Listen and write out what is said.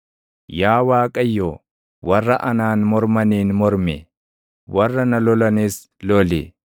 Yaa Waaqayyo, warra anaan mormaniin mormi; warra na lolanis loli.